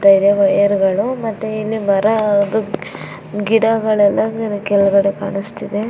Tyre wire ಗಳು ಮತ್ತೆ ಮರದ್ದು ಗಿಡಗಳೆಲ್ಲ ಇಲ್ಲಿ ಕೆಳಗಡೆ ಕಾಣಿಸ್ತಇದೆ.